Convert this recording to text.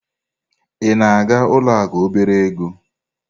Ị na-aga ụlọ akụ obere ego?